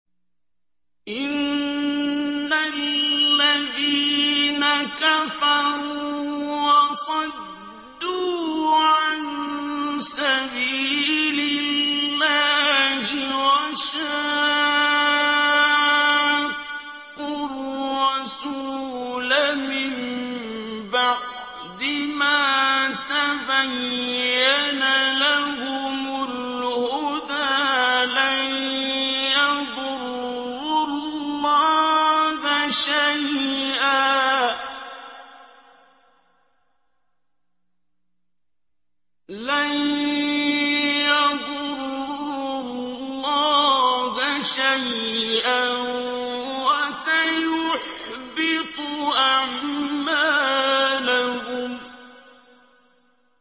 إِنَّ الَّذِينَ كَفَرُوا وَصَدُّوا عَن سَبِيلِ اللَّهِ وَشَاقُّوا الرَّسُولَ مِن بَعْدِ مَا تَبَيَّنَ لَهُمُ الْهُدَىٰ لَن يَضُرُّوا اللَّهَ شَيْئًا وَسَيُحْبِطُ أَعْمَالَهُمْ